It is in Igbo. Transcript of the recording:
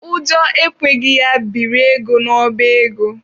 Ụjọ ekweghị ya biri ego n'ọba ego.